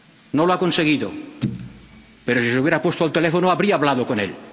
No lo ha conseguido, pero si se hubiera puesto al teléfono, habría hablado con él.